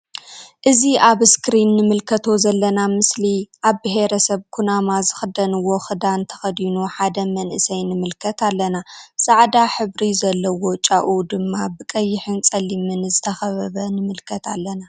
እዚ ኣብ እስክሪን እንምልከቶ ዘለና ምስሊ ኣብ ቤሂረሰብ ኩናማ ዝክደንዎ ክዳን ተከዲኑ ሓደ መንእሰይ ንምልከት ኣለና ።ጻዕዳ ሕብሪ ዘልዎ ጫኡ ድማ ብ ቀሕን ጸሊም ዝተከበበ ንምልከት ኣለና።